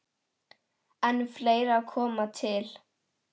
En fleira komi til.